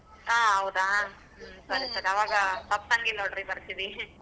ಹಾ ಹೌದಾ ಹ್ಮ್ ಸರಿ ಸರಿ ಅವಾಗ ತಪ್ಸನ್ಗಿಲ್ಲ ನೋಡ್ರಿ ಬರ್ತೀವಿ .